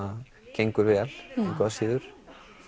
gengur vel engu að síður